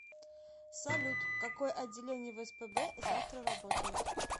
салют какое отделение в спб завтра работает